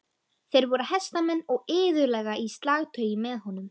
Þeir voru hestamenn og iðulega í slagtogi með honum.